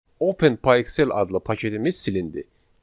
Open Pyxell adlı paketimiz silindi.